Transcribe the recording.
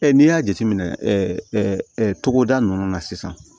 n'i y'a jateminɛ togoda ninnu na sisan